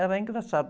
Era engraçado.